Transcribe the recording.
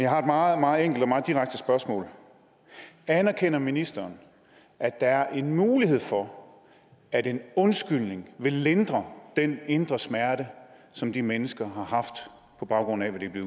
har et meget meget enkelt og meget direkte spørgsmål anerkender ministeren at der er en mulighed for at en undskyldning ville lindre den indre smerte som de mennesker har på baggrund af hvad de er